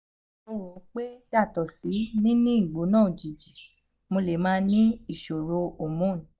mo ro pe yato si ni ni igbona ojiji mo le ma ni isoro hormone